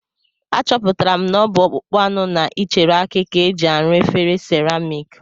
Achọpụtara m na ọ bụ ọkpụkpụ anụ na ichere aki ka e ji arụ efere seramik